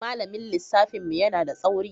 Malamin lissafin mu yana da tsauri.